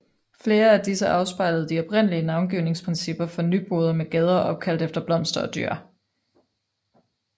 Flere af disse afspejlede de oprindelige navngivningsprincipper for Nyboder med gader opkaldt efter blomster og dyr